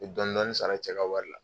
N mɛ dɔnni dɔnni sara, cɛ ka wari la